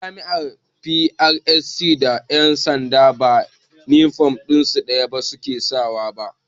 Da jami'an 'FRSC' da ƴan sanda ba inifom ɗaya su ke sawa ba